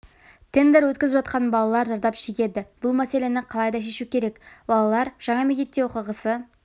тендер өткізіпжатқаннан балалар зардап шегеді бұл мәселені қалай да шешу керек балалар жаңа мектептерде оқығысы